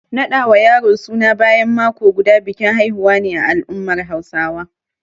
Naɗa wa yaro suna bayan mako guda, bikin haihuwa ne a al’ummar Hausawa.